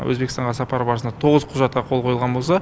өзбекстанға сапары барысында тоғыз құжатқа қол қойылған болса